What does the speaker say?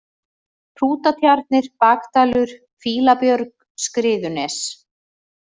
Hrútatjarnir, Bakdalur, Fýlabjörg, Skriðunes